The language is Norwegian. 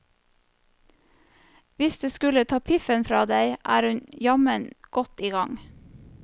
Hvis det er å ta piffen fra deg, er hun jammen godt i gang.